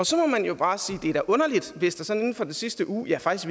så må man jo bare sige det er underligt hvis der sådan inden for den sidste uge ja faktisk